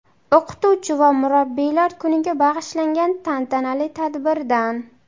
O‘qituvchi va murabbiylar kuniga bag‘ishlangan tantanali tadbirdan.